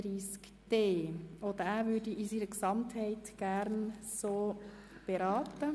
Auch diesen würde ich gerne in seiner Gesamtheit beraten.